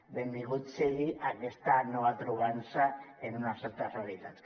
benvingut sigui a aquesta nova trobada en unes altres realitats